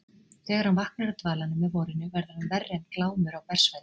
Þegar hann vaknar af dvalanum með vorinu verður hann verri en Glámur á bersvæði.